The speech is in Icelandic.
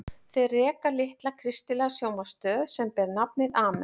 Þau reka litla kristilega sjónvarpsstöð sem ber nafnið Amen.